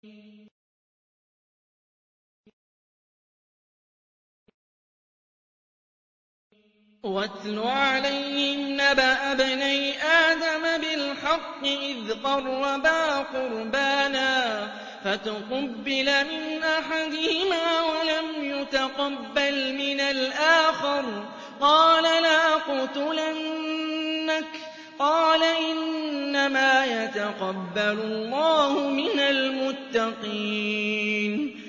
۞ وَاتْلُ عَلَيْهِمْ نَبَأَ ابْنَيْ آدَمَ بِالْحَقِّ إِذْ قَرَّبَا قُرْبَانًا فَتُقُبِّلَ مِنْ أَحَدِهِمَا وَلَمْ يُتَقَبَّلْ مِنَ الْآخَرِ قَالَ لَأَقْتُلَنَّكَ ۖ قَالَ إِنَّمَا يَتَقَبَّلُ اللَّهُ مِنَ الْمُتَّقِينَ